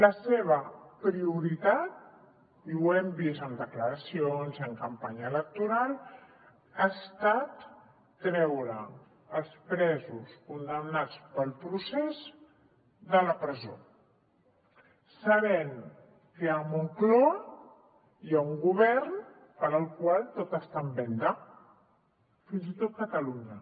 la seva prioritat i ho hem vist en declaracions i en campanya electoral ha estat treure els presos condemnats pel procés de la presó sabent que a moncloa hi ha un govern per al qual tot està en venda fins i tot catalunya